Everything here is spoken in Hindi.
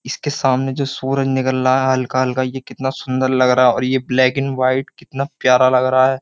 इसके सामने जो सूरज निकल रहा है हल्का-हल्का ये कितना सुंदर लग रहा है और ये ब्लैक एंड वाइट कितना प्यारा लग रहा है ।